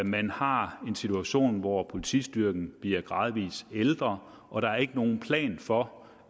man har en situation hvor politistyrken gradvis ældre og der er ikke nogen plan for